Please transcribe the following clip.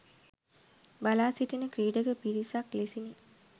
බලා සිටින ක්‍රීඩක පිරිසක් ලෙසිනි.